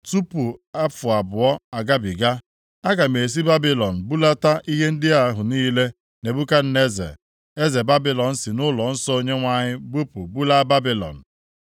Tupu afọ abụọ agabiga, aga m esi Babilọn bulata ihe ndị ahụ niile Nebukadneza eze Babilọn si nʼụlọnsọ Onyenwe anyị bupụ bulaa Babilọn.